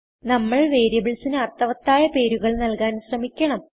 നമ്മൾ വേരിയബിൾസിന് അർത്ഥവത്തായ പേരുകൾ നല്കാൻ ശ്രമിക്കണം